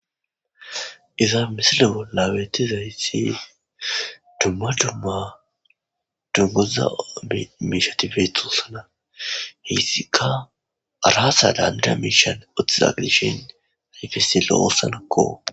Iza misile bollawetizayssi dumma dumma doggoza miishatifethossana heyssika araasa daanda miishan otizagdishin rifessilo oossanakko.